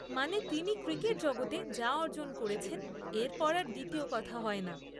মানে তিনি ক্রিকেট জগতে যা অর্জন করেছেন এরপর আর দ্বিতীয় কথা হয় না।